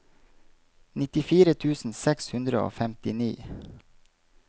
nittifire tusen seks hundre og femtini